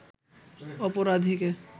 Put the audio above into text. অপরাধীকে